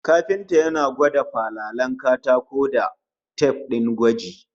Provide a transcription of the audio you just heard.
Kafintan yana gwada falalen katako da tif din gwaji